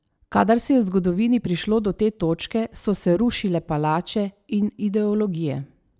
Kadar se je v zgodovini prišlo do te točke, so se rušile palače in ideologije.